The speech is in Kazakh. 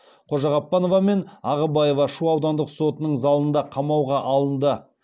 қожағаппанова мен ағыбаева шу аудандық сотының залында қамауға алынды